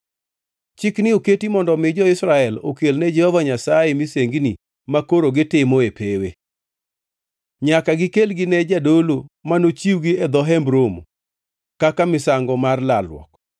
Chikni oketi mondo omi jo-Israel okelne Jehova Nyasaye misengini makoro gitimo e pewe. Nyaka gikelgi ne jadolo manochiwgi e dho Hemb Romo kaka misango mar lalruok.